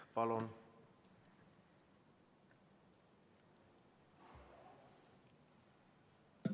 Palun!